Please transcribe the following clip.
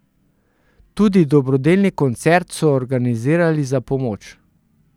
Tudi dobrodelni koncert so organizirali za pomoč.